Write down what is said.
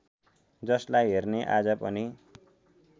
जसलाई हेर्ने आज पनि